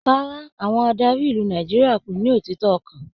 Rárá, àwọn adarí ìlú Nàìjíríà kò ní òtítọ ọkan.